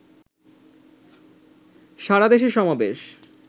সারাদেশে সমাবেশ